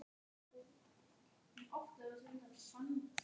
Fríðsteinn, hvenær kemur leið númer fjörutíu og níu?